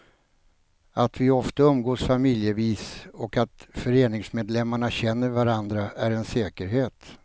Att vi ofta umgås familjevis och att föreningsmedlemmarna känner varandra är en säkerhet.